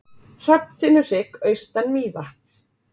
Hrafntinnuhrygg austan Mývatns.